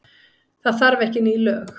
Það þarf ekki ný lög.